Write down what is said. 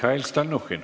Mihhail Stalnuhhin.